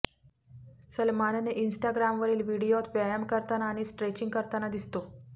सलमानने इन्स्टाग्रामवरील व्हिडिओत व्यायाम करताना आणि स्ट्रेचिंग करताना दिसतो